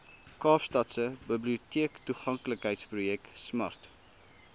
kaapstadse biblioteektoeganklikheidsprojek smart